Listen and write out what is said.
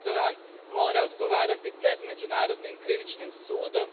Erdoğan mora odgovarati pred Međunarodnim krivičnim sudom.